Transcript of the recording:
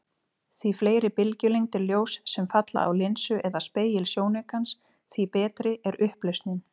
Því fleiri bylgjulengdir ljóss sem falla á linsu eða spegil sjónaukans, því betri er upplausnin.